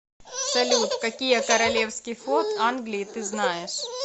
салют какие королевский флот англии ты знаешь